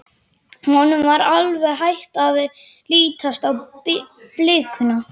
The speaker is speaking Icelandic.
Honum var alveg hætt að lítast á blikuna.